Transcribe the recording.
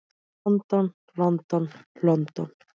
London, London, London.